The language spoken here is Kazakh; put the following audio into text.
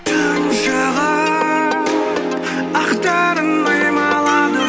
түн шығар ақтарын аймалады